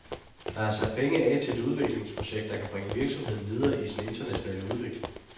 Der er sat penge af til et udviklingsprojekt, der kan bringe virksomheden videre i sin internationale udvikling.